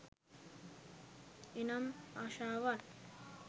එනම් ආශාවන්